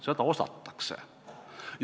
Seda osatakse.